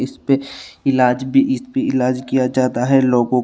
इसपे इलाज भी इसपे इलाज किया जाता है लोगों--